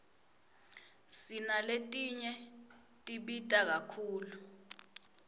sinaletinye tibita kakhulu